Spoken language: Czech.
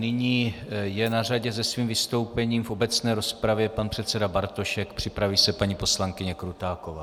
Nyní je na řadě se svým vystoupením v obecné rozpravě pan předseda Bartošek, připraví se paní poslankyně Krutáková.